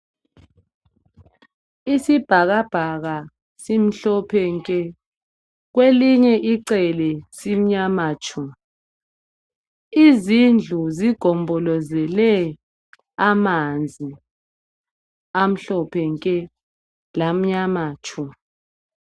Isibhakabhaka simhlophe nke ,kwelinye icele simnyama tshu. Izindlu zigombolozele amanzi amhlophe nke lamnyama tshu.